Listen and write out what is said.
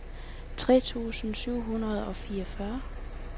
tre tusind syv hundrede og fireogfyrre